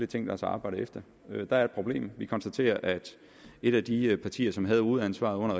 tænkt os at arbejde efter der er et problem vi konstaterer at et af de partier som havde hovedansvaret under